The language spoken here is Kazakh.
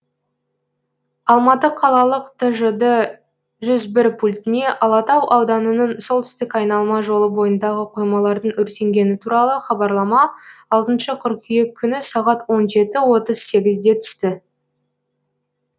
алматы қалалық тжд жүз бір пультіне алатау ауданының солтүстік айналма жолы бойындағы қоймалардың өртенгені туралы хабарлама алтыншы қыркүйек күні сағат он жеті отыз сегізде түсті